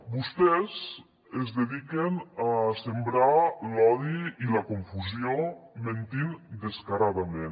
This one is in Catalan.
vostès es dediquen a sembrar l’odi i la confusió mentint descaradament